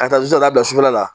Ka taa bila sufɛla la